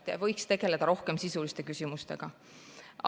Te võiks tegeleda rohkem sisuliste küsimustega.